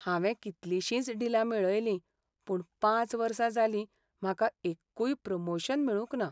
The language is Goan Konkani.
हांवें कितलिशींच डिलां मेळयलीं, पूण पांच वर्सां जालीं म्हाका एक्कूय प्रमोशन मेळूंक ना.